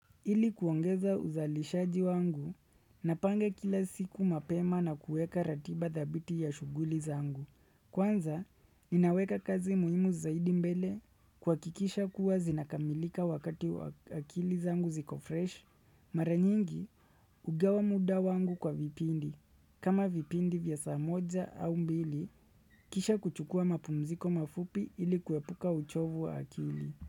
Ili kuongeza uzalishaji wangu, napange kila siku mapema na kueka ratiba thabiti ya shuguli zangu. Kwanza, ninaweka kazi muhimu zaidi mbele kuhakikisha kuwa zinakamilika wakati akili zangu ziko fresh. Maranyingi, hugawa muda wangu kwa vipindi. Kama vipindi vya saa moja au mbili, kisha kuchukua mapumziko mafupi ili kuepuka uchovu wa akili.